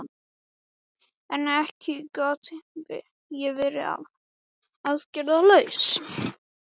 En ekki gat ég verið aðgerðalaus.